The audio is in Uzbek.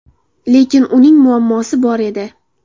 Lekin uning muammosi bor edi.